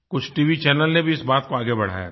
कुछ TV channel ने भी इस बात को आगे बढ़ाया था